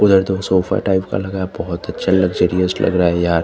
उधर तो sofa type का लगा बोहोत अच्छा लग्जरियस लग रहा है यार --